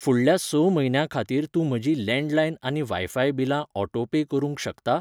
फुडल्या स म्हयन्यां खातीर तूं म्हजीं लँडलायन आनी वायफाय बिलां ऑटो पे करूंक शकता?